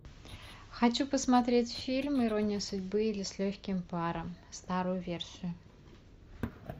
хочу посмотреть фильм ирония судьбы или с легким паром старую версию